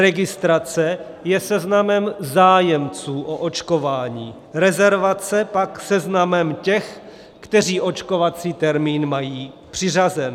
Registrace je seznamem zájemců o očkování, rezervace pak seznamem těch, kteří očkovací termín mají přiřazen.